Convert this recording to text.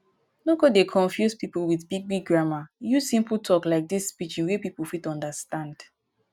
no go dey confuse pipo with big big grammer use simple talk like this pidgin wey pipo fit understand